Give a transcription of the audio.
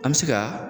An bɛ se ka